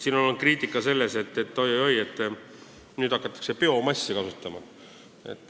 On kritiseeritud, et oi-oi-oi, nüüd hakatakse biomassi kasutama.